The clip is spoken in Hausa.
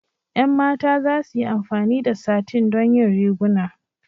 Ƴan mata za su yi amfani da satin don yin riguna.